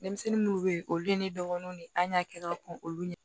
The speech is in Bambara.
Denmisɛnnin munnu bɛ ye olu ye ne dɔgɔnin de ye an y'a kɛ ka kɔn olu ye